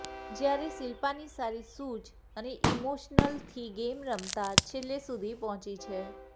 જ્યારે શિલ્પાની સારી સૂઝ અને ઇમોશનલથી ગેમ રમતાં છેલ્લે સુધી પહોંચી છે